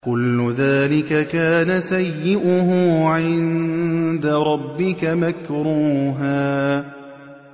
كُلُّ ذَٰلِكَ كَانَ سَيِّئُهُ عِندَ رَبِّكَ مَكْرُوهًا